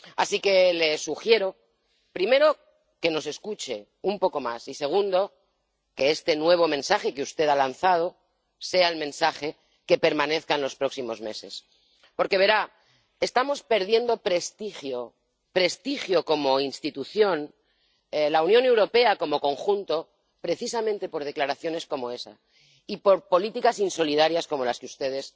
Así que le sugiero, primero, que nos escuche un poco más y, segundo, que este nuevo mensaje que usted ha lanzado sea el mensaje que permanezca en los próximos meses. Porque, verá, estamos perdiendo prestigio, prestigio como institución —la Unión Europea como conjunto—, precisamente por declaraciones como esas y por políticas insolidarias como las que ustedes